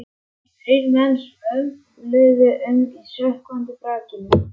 Þrír menn svömluðu um í sökkvandi brakinu.